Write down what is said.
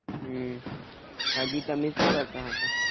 હમ હાચી તમે શું કરતા હતા?